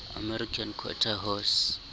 american quarter horse